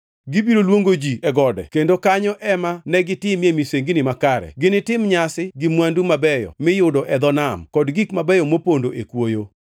Gibiro luongo ji e gode kendo kanyo ema negi timie misengini makare; ginitim nyasi gi mwandu mabeyo miyudo e dho nam kod gik mabeyo mopondo e kwoyo.”